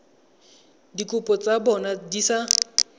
dikopo tsa bona di sa